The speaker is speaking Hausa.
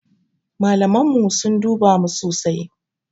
Malaman mu sun duba mu sosai.